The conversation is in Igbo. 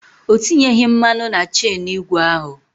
O tinyeghi mmanụ na chenụ igwe ahụ.